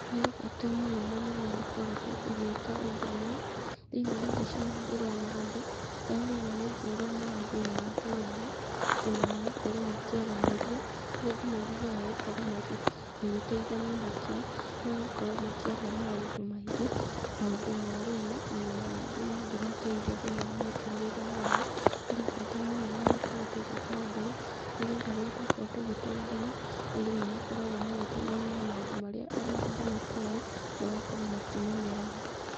Harĩ bata mũnene mũno gũkorwo ũgĩka ũndũ ũyũ, thĩinĩ wa mbica ĩno ndĩrona andũ, arĩa ndĩrona maigĩirwo maĩ thĩinĩ wa tũmetha, ona magakorwo makĩaranĩria, kũrĩa andũ mathiaga gũkorwo magĩteithania hakiri, magakorwo makĩaria maũndũ maingĩ, maũndũ ma ũrĩmi, ona mangĩ mangĩmateithia thinĩ wa mĩtũrĩre yao, harĩ bata mũnene gũkorwo tũgĩka ũndũ ũyũ, nĩ getha rĩrĩa twakorwo tũgĩtũngana, andũ nĩ makoragwo magĩteithania na maũndũ marĩa andũ matoĩ, magakorwo makĩmenyera ho.